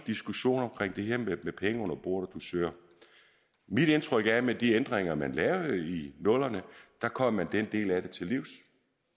diskussion om det her med penge under bordet og dusør mit indtryk er at med de ændringer man lavede i nullerne kom man den del af det til livs